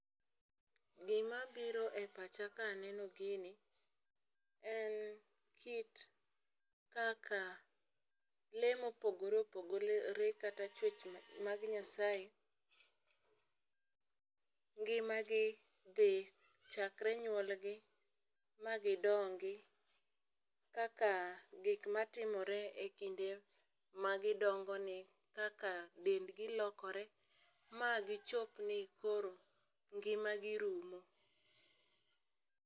Gi ma biro e pacha ka aneno gini, en kit kaka lee ma opogore opogore, kata chwech ma mag Nyasaye ngimagi dhi, chakre nyuolgi, magidongi. Kaka gik ma timore e kinde magidongoni, kaka dendgi lokore, ma gichopni koro ngimagi rumo.